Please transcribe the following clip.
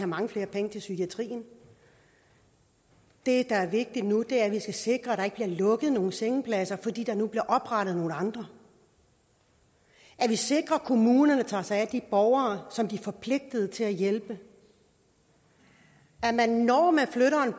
mange flere penge til psykiatrien det der er vigtigt nu er at vi skal sikre at der ikke bliver lukket nogen sengepladser fordi der nu bliver oprettet nogle andre at vi sikrer at kommunerne tager sig af de borgere som de er forpligtet til at hjælpe at man når man flytter